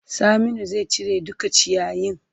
Saminu zai cire duka ciyayin.